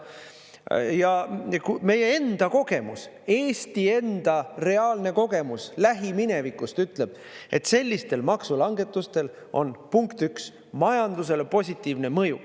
Ja meie enda kogemus, Eesti enda reaalne kogemus lähiminevikust ütleb, et sellistel maksulangetusel on, punkt üks, majandusele positiivne mõju.